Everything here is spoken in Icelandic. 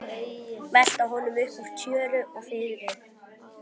Velta honum upp úr tjöru og fiðri!